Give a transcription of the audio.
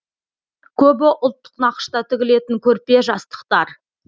көбі ұлттық нақышта тігілетін көрпе жастықтар